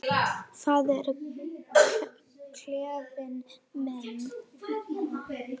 Það er klefinn minn.